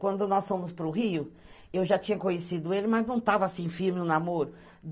Quando nós fomos para o Rio, eu já tinha conhecido ele, mas não tava assim firme o namoro.